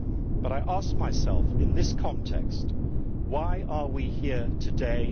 But I asked myself, in this context, why are we here today?